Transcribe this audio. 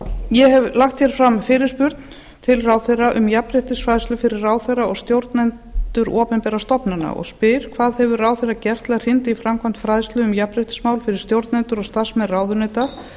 ég hef lagt fram fyrirspurn til ráðherra um jafnréttisfræðslu fyrir ráðherra og stjórnendur opinberra stofnana og spyr hvað hefur ráðherra gert til að hrinda í framkvæmda fræðslu um jafnréttismál fyrir stjórnendur og starfsmenn ráðuneyta